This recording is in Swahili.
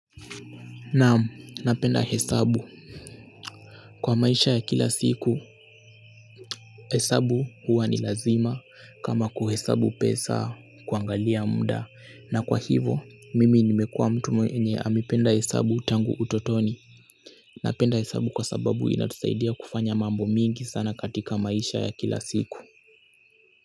Naam, napenda hesabu kwa maisha ya kila siku hesabu huwa ni lazima kama kuhesabu pesa kuangalia mda na kwa hivo mimi nimekua mtu mwenye amependa hesabu tangu utotoni napenda hesabu kwa sababu inatusaidia kufanya mambo mingi sana katika maisha ya kila siku.